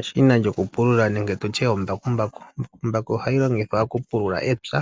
Eshina lyoku pulula nenge tutye ombakambaku. Ombakumbaku ohayi longithwa oku pulula epya